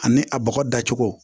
Ani a bɔgɔ dacogo